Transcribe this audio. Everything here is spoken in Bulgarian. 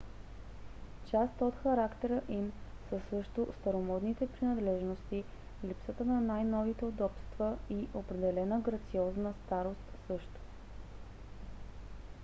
част от характера им са също старомодните принадлежности липсата на най-новите удобства и определена грациозна старост също